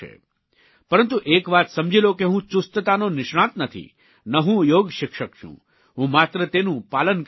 પરંતુ એક વાત સમજી લો કે હું ચુસ્તતાનો નિષ્ણાત નથી ન હું યોગશિક્ષક છું હું માત્ર તેનું પાલન કરનારો છું